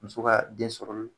Muso ka den sɔrɔ olu la